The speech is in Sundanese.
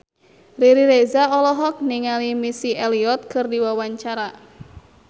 Riri Reza olohok ningali Missy Elliott keur diwawancara